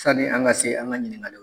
Sanni an ka se an ka ɲininkakali